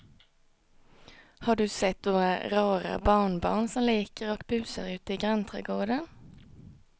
Har du sett våra rara barnbarn som leker och busar ute i grannträdgården!